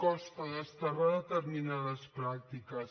costa desterrar determinades pràctiques